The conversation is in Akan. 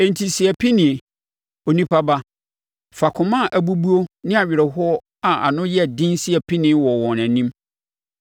“Enti si apinie, onipa ba! Fa akoma a abubuo ne awerɛhoɔ a ano yɛ den si apinie wɔ wɔn anim.